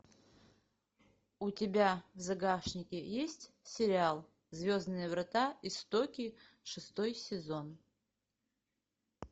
у тебя в загашнике есть сериал звездные врата истоки шестой сезон